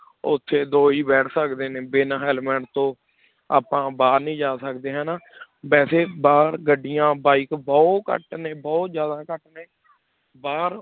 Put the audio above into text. ਉੱਥੇ ਦੋ ਹੀ ਬੈਠ ਸਕਦੇ ਨੇ ਬਿਨਾਂ ਹੈਲਮਟ ਤੋਂ ਆਪਾਂ ਬਾਹਰ ਨੀ ਜਾ ਸਕਦੇ ਹਨਾ ਵੈਸੇ ਬਾਹਰ ਗੱਡੀਆਂ bike ਬਹੁਤ ਘੱਟ ਨੇ ਬਹੁਤ ਜ਼ਿਆਦਾ ਘੱਟ ਨੇ, ਬਾਹਰ